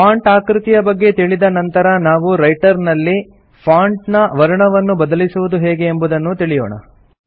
font ಆಕೃತಿಯ ಬಗ್ಗೆ ತಿಳಿದ ನಂತರ ನಾವು ರೈಟರ್ ನಲ್ಲಿ ಫಾಂಟ್ ನ ವರ್ಣವನ್ನು ಬದಲಿಸುವುದು ಹೇಗೆ ಎಂಬುದನ್ನೂ ತಿಳಿಯೋಣ